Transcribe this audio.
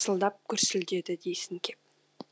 тарсылдап гүрсілдеді дейсің кеп